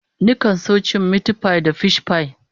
Nakan so cin mitipai ko fishpai